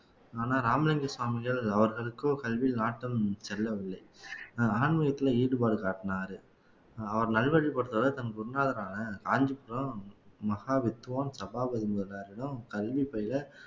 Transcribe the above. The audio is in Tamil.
ஆனா ராமலிங்கம் சுவாமிகள் அவர்களுக்கோ கல்வியில் நாட்டம் செல்லவில்லை ஆன்மீகத்துல ஈடுபாடு காட்டினாரு அவர் நல்வழிப்படுத்தறதை தன் குருநாதரான காஞ்சிபுரம் மகா வித்துவான் சபாபதி முதலியாரிடம் கல்வி பயில